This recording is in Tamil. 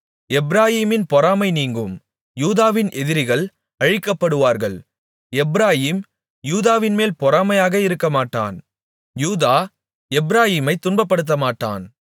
எப்பிராயீமின் பொறாமை நீங்கும் யூதாவின் எதிரிகள் அழிக்கப்படுவார்கள் எப்பிராயீம் யூதாவின்மேல் பொறாமையாக இருக்கமாட்டான் யூதா எப்பிராயீமைத் துன்பப்படுத்தமாட்டான்